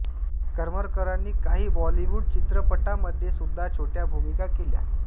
करमरकरांनी काही बॉलीवूड चित्रपटांमध्ये सुद्धा छोट्या भूमिका केल्या